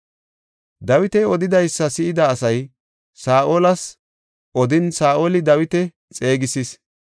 Dawiti odidaysa si7ida asay Saa7olas odin, Saa7oli Dawita xeegisis.